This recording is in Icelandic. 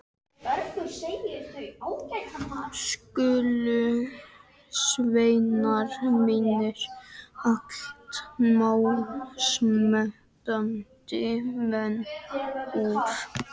Skulu sveinar mínir, allt málsmetandi menn úr